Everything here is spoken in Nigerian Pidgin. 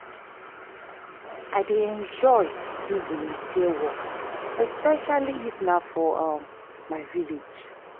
i dey enjoy do volunteer work especially if na for um my village